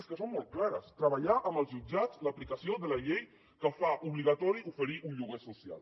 és que són molt clares treballar amb els jutjats l’aplicació de la llei que fa obligatori oferir un lloguer social